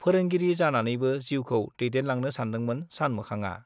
फोरोंगिरि जानानैनो जिउखौ दैदेनलांनो सानदोंमोन सानमोखांआ।